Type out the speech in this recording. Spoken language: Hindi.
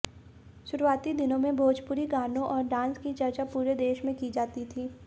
शुरूआती दिनों में भोजपुरी गानों और डांस की चर्चा पूरे देश में की जाती थी